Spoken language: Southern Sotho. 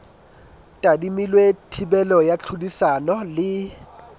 tadimilwe thibelo ya tlhodisano le